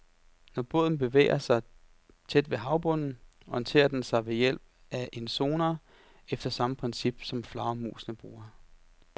Når båden bevæger sig tæt ved havbunden, orienterer den sig ved hjælp af en sonar efter samme princip, som flagermusene bruger.